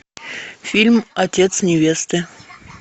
фильм отец невесты